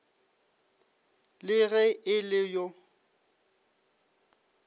le ge e le yo